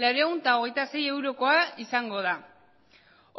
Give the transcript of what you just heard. laurehun eta hogeita sei eurokoa izango da